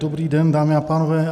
Dobrý den, dámy a pánové.